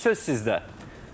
Buyurun söz sizdə.